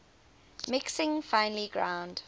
mixing finely ground